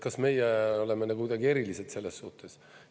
Kas meie oleme nagu kuidagi erilised sellessuhtes?